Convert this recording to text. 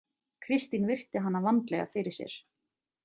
Kristín virti hana vandlega fyrir sér.